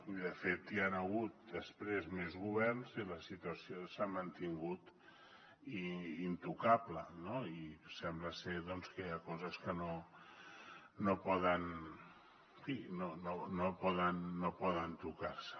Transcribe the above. i de fet hi han hagut després més governs i la situació s’ha mantingut intocable no i sembla ser doncs que hi ha coses que no poden tocar se